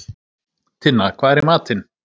Tinna, hvað er í matinn?